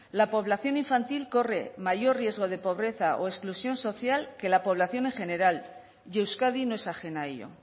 la población infantil corre mayor riesgo de pobreza o exclusión social que la población en general y euskadi no es ajena a ello